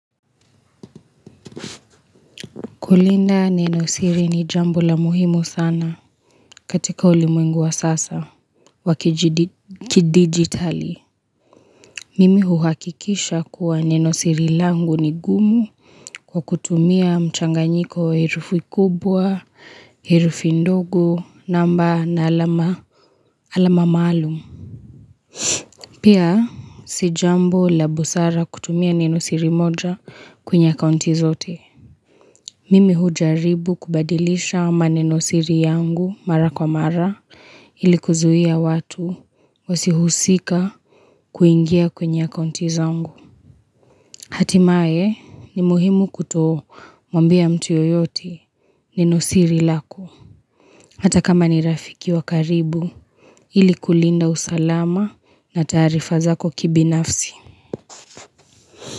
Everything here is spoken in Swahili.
Kulinda nenosiri ni jambo la muhimu sana katika ulimwengu wa sasa wa kidigitali. Mimi huhakikisha kuwa nenosiri langu ni gumu kwa kutumia mchanganyiko wa herufi kubwa, herufi ndogo, namba na alama maalumu. Pia si jambo la busara kutumia nenosiri moja kwenye akaunti zote. Mimi hujaribu kubadilisha manenosiri yangu mara kwa mara ili kuzuia watu wasihusika kuingia kwenye akaunti zangu. Hatimaye ni muhimu kutomwambia mtu yoyote nenosiri lako. Hata kama ni rafiki wa karibu ili kulinda usalama na taarifa zako kibinafsi.